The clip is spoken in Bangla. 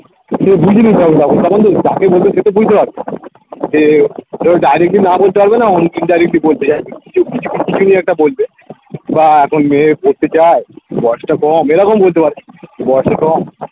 যাকে বলছে সে তো বুঝতে পারছে যে কেউ directly না বলতে পারবে না অনেকে indirectly বলতে চায় কিছু নিয়ে একটা বলবে বা এখন মেয়ে পড়তে চায় বয়সটা কম এরকম বলতে বয়সটা কম